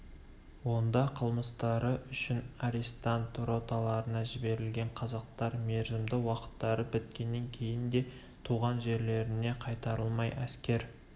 онда қылмыстары үшін арестант роталарына жіберілген қазақтар мерзімді уақыттары біткеннен кейін де туған жерлеріне қайтарылмай әскер